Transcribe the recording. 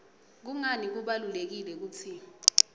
kungani kubalulekile kutsi